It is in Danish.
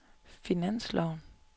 finansloven